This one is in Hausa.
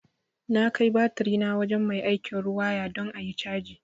Na kai batirina wajen mai aikin riwaya don ayi caji